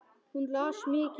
Hún las mikið.